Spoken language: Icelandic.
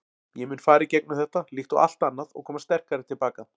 Ég mun fara í gegnum þetta, líkt og allt annað og koma sterkari til baka.